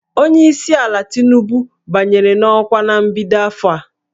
Onye isi ala Tinubu banyere n'ọkwa na mbido afọ a